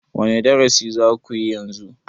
wane darasi za ku yi yanzu?